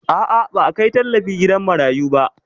A'a, ba a kai tallafi gidan marayu ba